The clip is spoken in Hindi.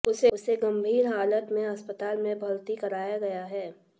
उसे गंभीर हालत में अस्पताल में भर्ती कराया गया है